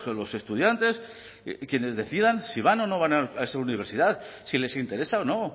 los estudiantes quienes decidan si van o no a esa universidad si les interesa o no